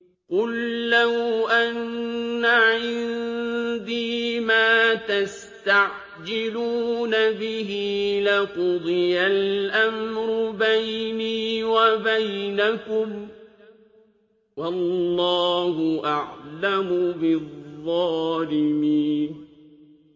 قُل لَّوْ أَنَّ عِندِي مَا تَسْتَعْجِلُونَ بِهِ لَقُضِيَ الْأَمْرُ بَيْنِي وَبَيْنَكُمْ ۗ وَاللَّهُ أَعْلَمُ بِالظَّالِمِينَ